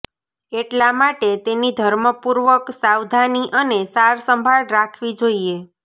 એટલા માટે તેની ધર્મપૂર્વક સાવધાની અને સાર સંભાળ રાખવી જોઈએ